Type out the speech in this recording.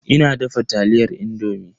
Ina dafa taliyar indomi.